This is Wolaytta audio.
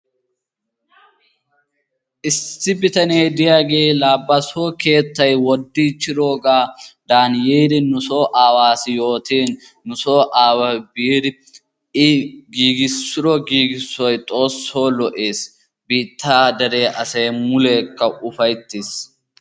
Issi bitanee diyaage laa ba soo keettay woddiichchidoogan yiidi nusoo aawassi yootin nu so aaway i biidi giigissido giiggissoy Xoosso lo''ees. Biitta dere asay mulekka ufayttees.